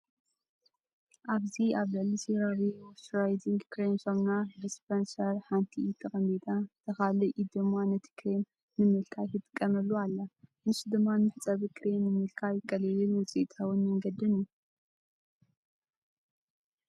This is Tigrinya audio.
ኣብዚ ኣብ ልዕሊ ሴራቨ ሞይስቸራይዚንግ ክሬም ሳሙና ዲስፐንሰር ሓንቲ ኢድ ተቐሚጣ እታ ካልእ ኢድ ድማ ነቲ ክሬም ንምልካይ ትጥቀመሉ ኣላ። ንሱ ድማ ንመሕጸቢ ክሬም ንምልካይ ቀሊልን ውጽኢታውን መንገዲ እዩ።